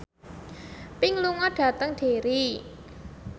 Pink lunga dhateng Derry